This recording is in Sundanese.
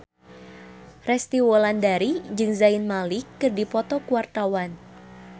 Resty Wulandari jeung Zayn Malik keur dipoto ku wartawan